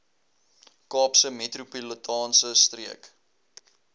kaapse metropolitaanse streek